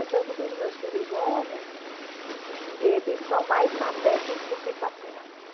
É tanto que os meus filhos homens, eles são mais maternos do que paternos.